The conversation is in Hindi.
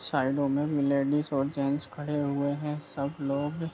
शायद वोमेन लेडिस और जेन्स खड़े हुए हैं सब लोग --